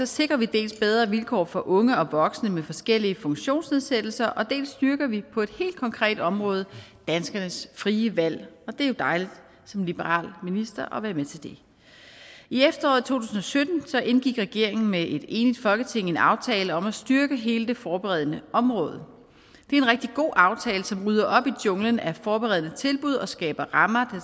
sikrer vi dels bedre vilkår for unge og voksne med forskellige funktionsnedsættelser dels styrker vi på et helt konkret område danskernes frie valg det er jo dejligt som liberal minister at være med til det i efteråret to tusind og sytten indgik regeringen med et enigt folketing en aftale om at styrke hele det forberedende område det er en rigtig god aftale som rydder op i junglen af forberedende tilbud og skaber rammer